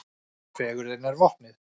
Fegurðin er vopnið.